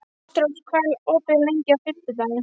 Ástrós, hvað er opið lengi á fimmtudaginn?